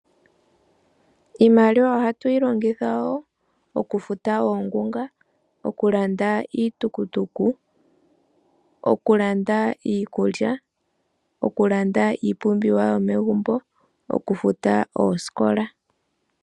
Iimaliwa ohatu yi longitha wo okufuta oongunga ,okulanda iitukutuku okulanda iikulya okulanda iipumbiwa yomegumbo ,okufuta oosikola.